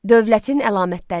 Dövlətin əlamətləri.